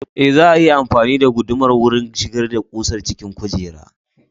Ee, za a iya amfani da gudumar wurin shigar da ƙusar cikin kujerar.